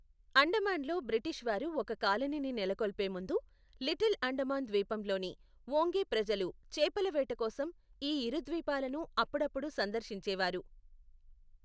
అండమాన్ లో బ్రిటిష్ వారు ఒక కాలనీని నెలకొలిపే ముందు, లిటిల్ అండమాన్ ద్వీపంలోని ఓంగే ప్రజలు చేపల వేట కోసం ఈ ఇరుద్వీపాలను అప్పుడప్పుడు సందర్శించేవారు.